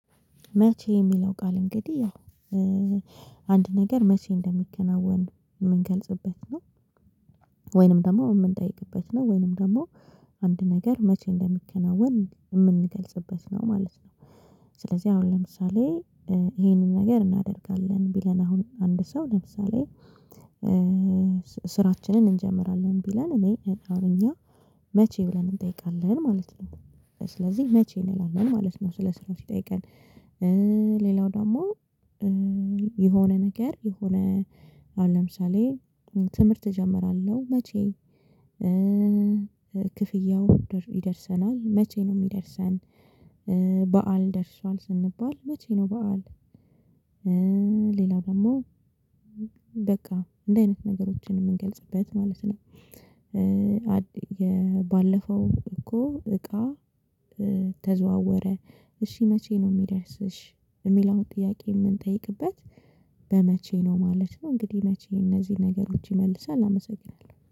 መቼ የሚለው ቃል እንግዲህ ያው አንድ ነገር መቼ እንደሚከናወን የምንገልጽበት ነው ወይንም ደግሞ የምንጠይቅበት ነው ወይንም ደግሞ አንድ ነገር መቼ እንደሚከናወን ምንገልጽበት ነው ማለት ነው። ስለዚህ አሁን ለምሳሌ ይሄንን ነገር እናደርጋለን ቢለን አሁን አንድ ሰው ለምሳሌ ስራችንን እንጀምራለን ቢለን እኔ አሁን እኛ መቼ ብለን እንጠይቃለን ማለት ነው ስለዚህ መቼ እንላለን ማለት ነው ስለ ስራው ሲጠይቀን። ሌላው ደግሞ የሆነ ነገር የሆነ አሁን ለምሳሌ ትምህርት እጀምራለሁ መቼ ክፍያው ይደርሰናል መቼ ነው የሚደርሰን? በዓል ደርሷል ስንባል መቼ ነው በዓል? ሌላው ደግሞ በቃ እንደዚህ አይነት ነገሮችን የምንገልጽበት ማለት ነው። የባለፈው እኮ እቃ ተዘዋወረ። እሺ መቼ ነው የሚረስሽ? የሚለውን ጥያቄ የምንጠይቅበት በመቼ ነው ማለት ነው። እንግዲህ መቼ እነዚህን ነገሮች ይመልሳል አመሰግናለሁ